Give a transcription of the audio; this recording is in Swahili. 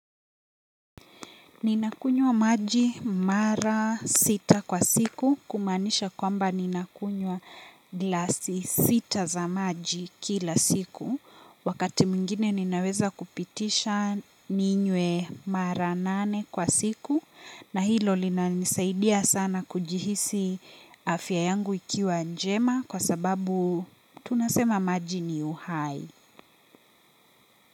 Ninakunywa maji mara sita kwa siku kumaanisha kwamba ninakunywa glasi sita za maji kila siku. Wakati mwingine ninaweza kupitisha ninywe mara nane kwa siku. Na hilo linanisaidia sana kujihisi afya yangu ikiwa njema kwa sababu tunasema maji ni uhai.